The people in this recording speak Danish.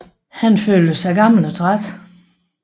Han følte sig gammel og træt